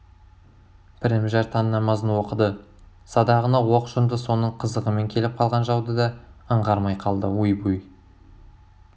пірімжар таң намазын оқыды садағына оқ жонды соның қызығымен келіп қалған жауды да аңғармай қалды ойбуй